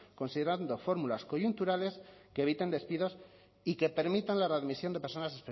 considerando fórmulas coyunturales que eviten despidos y que permitan la readmisión de personas